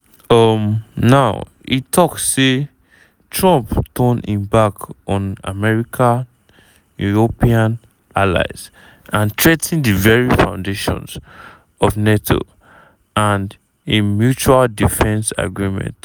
um now e tok say trump dey turn im back on america european allies and threa ten di very foundations of nato and im mutual defence agreement.